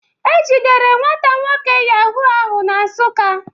E jidere nwata nwoke Yahoo ahụ na Nsuka.